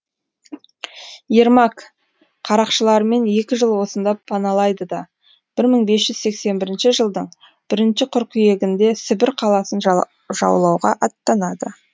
ермак қарақшыларымен екі жыл осында паналайды да бір мың бес жүз сексен бірінші жылдың бірінші қыркүйегінде сібір қаласын жаулауға аттанады